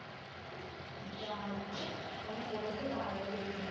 যাক মনে পড়েছে তাহলে শেষ মেস।